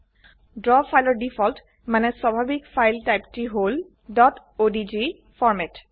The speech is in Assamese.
ড্ৰ ফাইলৰ ডিফল্ট মানে স্বাভাবিক ফাইল টাইপটি হল ডট অডিজি অডিজি ফৰম্যাট